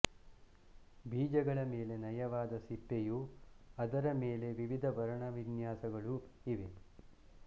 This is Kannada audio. ಬೀಜಗಳ ಮೇಲೆ ನಯವಾದ ಸಿಪ್ಪೆಯೂ ಅದರ ಮೇಲೆ ವಿವಿಧ ವರ್ಣವಿನ್ಯಾಸಗಳೂ ಇವೆ